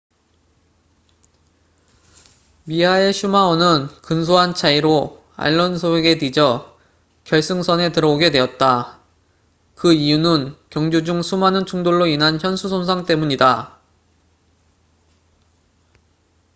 미하엘 슈마허는 근소한 차이로 알론소에게 뒤져 결승선에 들어오게 되었다. 그 이유는 경주 중 수많은 충돌로 인한 현수 손상suspension damage 때문이다